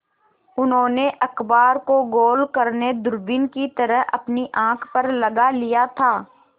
उन्होंने अखबार को गोल करने दूरबीन की तरह अपनी आँख पर लगा लिया था